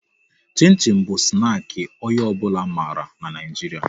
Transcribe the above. Chin chin bụ snaki onye ọ bụla mara n'Naijiria